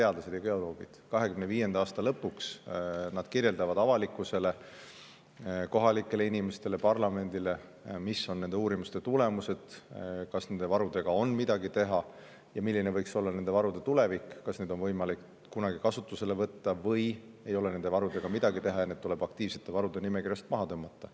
Nad kirjeldavad 2025. aasta lõpuks avalikkusele, kohalikele inimestele ja parlamendile, mis on nende uurimuste tulemused: kas nende varudega on midagi teha ja milline võiks olla nende tulevik, kas neid on võimalik kunagi kasutusele võtta või ei ole nende varudega midagi teha ja need tuleb aktiivsete varude nimekirjast maha tõmmata.